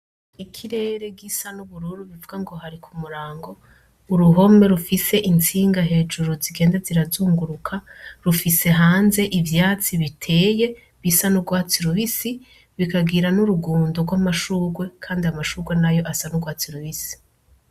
Ikirere gisa nubururu bivungo hari kumurango, uruhome rufise intsinga hejuru zigenda zirazunguruka rufise hanze ivyatsi biteye bisa nurwatsi rubisi rukagira n'urugondo rw'amashurwe Kandi amashurwe nayo asa n'urwatsi rubisi.